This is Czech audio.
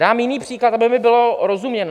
Dám jiný příklad, aby mi bylo rozuměno.